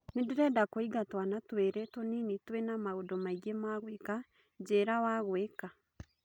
ni ndĩreda kũinga twana tũĩri tũnini twĩna maũndu maĩngĩ ma gũika njĩira wa gũika